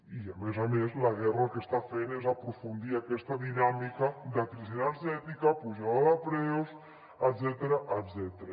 i a més a més la guerra el que està fent és aprofundir aquesta dinàmica de crisi energètica pujada de preus etcètera